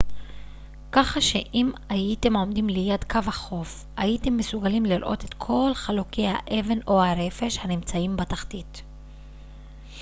כך שאם הייתם עומדים ליד קו החוף הייתם מסוגלים לראות את כל חלוקי האבן או הרפש הנמצאים בתחתית